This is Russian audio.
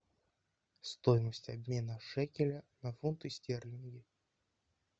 стоимость обмена шекеля на фунты стерлинги